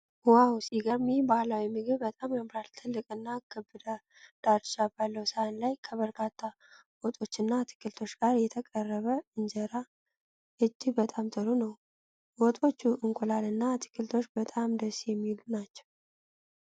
ዋው፣ ሲገርም! ይህ ባህላዊ ምግብ በጣም ያምራል! ትልቅና ክብ ዳርቻ ባለው ሳህን ላይ ከበርካታ ወጦችና አትክልቶች ጋር የተቀረበ እንጀራ እጅግ በጣም ጥሩ ነው። ወጦቹ፣ እንቁላል እና አትክልቶች በጣም ደስ የሚል ናቸው።